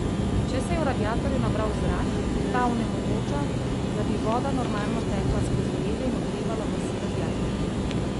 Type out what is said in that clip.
Če se je v radiatorju nabral zrak, ta onemogoča, da bi voda normalno tekla skozi reže in ogrevala ves radiator.